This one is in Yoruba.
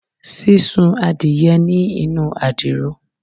Sisun adiye ni inu adiro